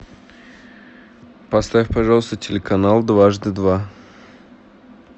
поставь пожалуйста телеканал дважды два